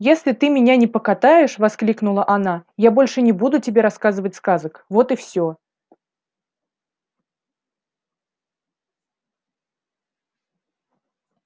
если ты меня не покатаешь воскликнула она я больше не буду тебе рассказывать сказок вот и все